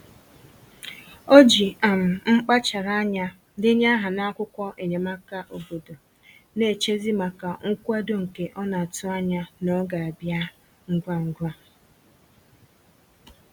O ji um mkpachara anya denye aha n'akwụkwọ enyemaka obodo, na-echezi maka nkwado nke ọ na-atụ anya na ọ ga-abịa ngwa ngwa